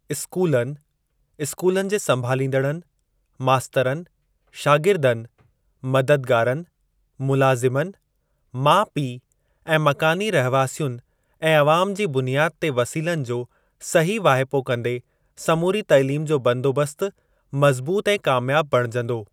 स्कूलनि, स्कूलनि जे संभालींदड़नि, मास्तरनि, शागिर्दनि, मददगारनि, मुलाज़िमनि, माउ पीउ ऐं मकानी रहवासियुनि ऐं अवाम जी बुनियादु ते वसीलनि जो सही वाहिपो कंदे समूरी तइलीम जो बंदोबस्त मज़बूत ऐं कामयाब बणिजंदो।